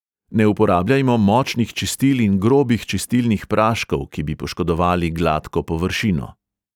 Ne uporabljajmo močnih čistil in grobih čistilnih praškov, ki bi poškodovali gladko površino.